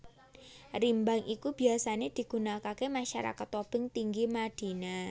Rimbang iki biyasané digunakaké masyarakat Tobing Tinggi Madina